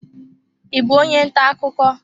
Ị bụ onye ntà akụkọ?